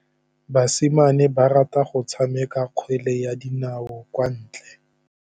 Basimane ba rata go tshameka kgwele ya dinaô kwa ntle.